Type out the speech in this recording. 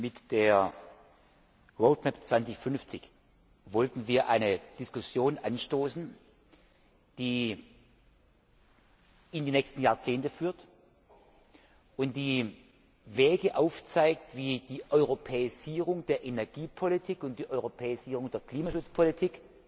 Mit der 2050 wollten wir eine Diskussion anstoßen, die in die nächsten Jahrzehnte führt und die Wege aufzeigt, wie die Europäisierung der Energiepolitik und die Europäisierung der Klimaschutzpolitik